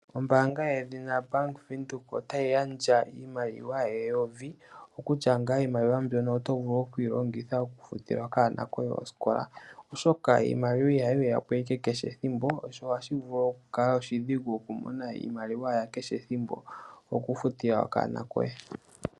Ombaanga yedhina Bank Windhoek otayi gandja iimaliwa eyovi (N$1000). Iimaliwa mbyono oto vulu okuyi longitha okufutila okanona koye osikola, oshoka iimaliwa ihayi ya po owala kehe ethimbo, sho ohashi vulu okukala oshidhigu okumona iimaliwa ya kehe esiku okufutila okanona koye.